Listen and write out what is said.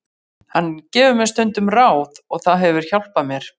Hann gefur mér stundum ráð og það hefur hjálpað mér.